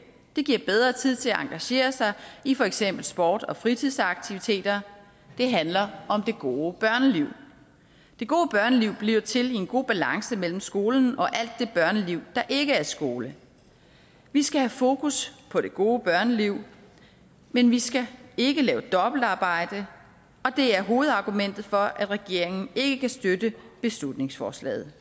det giver bedre tid til at engagere sig i for eksempel sport og fritidsaktiviteter det handler om det gode børneliv det gode børneliv bliver til i en god balance mellem skolen og alt det børneliv der ikke er skole vi skal have fokus på det gode børneliv men vi skal ikke lave dobbeltarbejde og det er hovedargumentet for at regeringen ikke kan støtte beslutningsforslaget